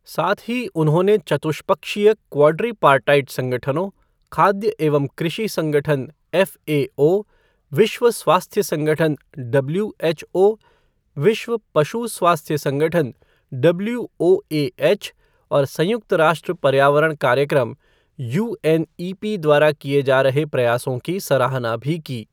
साथ ही उन्होंने चतुष्पक्षीय क्वॉडरीपार्टाइट संगठनों, खाद्य एवं कृषि संगठन एफ़एओ, विश्व स्वास्थ्य संगठन डब्ल्यूएचओ, विश्व पशु स्वास्थ्य संगठन डब्ल्यूओएएच और संयुक्त राष्ट्र पर्यावरण कार्यक्रम यूएनईपी द्वारा किए जा रहे प्रयासों की सराहना भी कीI